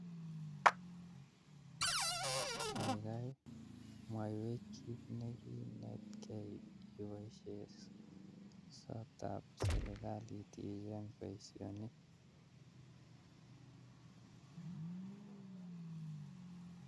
Kaigai mwaiwech kiit nekinetkei iboishe sotab serikalit ichenge boisionik?